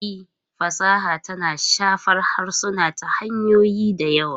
E, fasaha tana shafar harsuna ta hanyoyi da yawa.